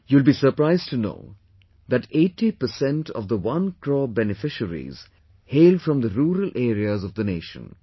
you will be surprised to know that 80 percent of the one crore beneficiaries hail from the rural areas of the nation